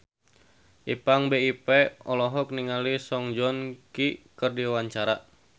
Ipank BIP olohok ningali Song Joong Ki keur diwawancara